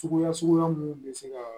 Suguya suguya mun bɛ se kaa